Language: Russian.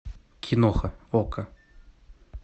киноха окко